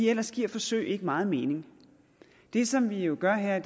ellers giver forsøg ikke meget mening det som vi jo gør her